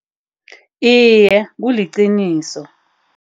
Iye, kuliqiniso.